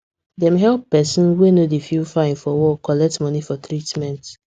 dem help person wey no dey feel fine for work collect money for treatment